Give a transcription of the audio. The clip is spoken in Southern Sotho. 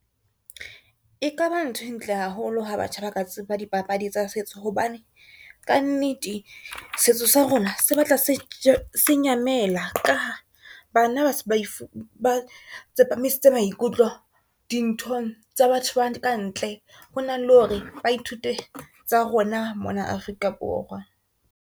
E kaba nthwe ntle haholo ha batjha ba ka tseba dpapadi tsa setso, hobane kannete setso sa rona se batla se nyamela ka ha bana ba tsepamisitse maikutlo dinthong tsa batho ba kantle, ho na le hore ba ithute tsa rona mona Afrika Borwa.